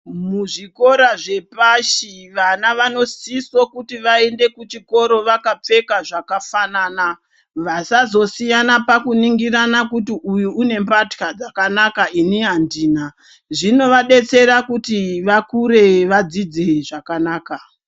Muzvikora zvepashi vana vanosiso kuti vaende kuchikora vakapfeka zvakafanana. Vasazosiyana pakuningirana kuti uyu une mbatya dzakanaka, ini andina. Zvinovadetsera kuti vakure vadzidze zvakanaka.